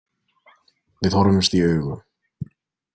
Við horfumst í augu.